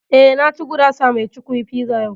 Eh, na ci gurasa mai cukwi (pizza) yau